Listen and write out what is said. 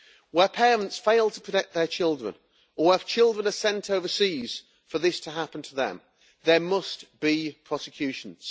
Where parents fail to protect their children or if children are sent overseas for this to happen to them, there must be prosecutions.